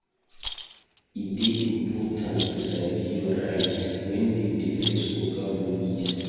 E dey important to sabi your rights wen you dey face Oga Police.